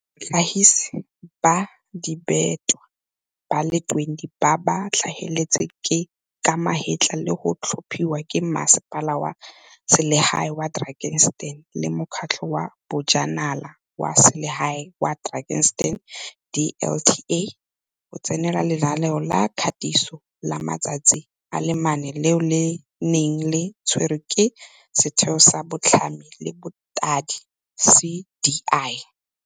batlhagisi ba dibetlwa ba le 20 ba ba tlhageletseng ka magetla le go tlhopiwa ke Mmasepala wa Selegae wa Drakenstein le Mokgatlho wa Bojanala wa Selegae wa Drakenstein, DLTA, go tsenela lenaneo la katiso la matsatsi a le mane leo le neng le tshwerwe ke Setheo sa Botlhami le Bothadi, CDI.